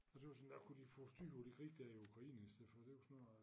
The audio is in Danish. Og synes endda kunne de få styr på det krig dér i Ukraine i stedet for det jo snart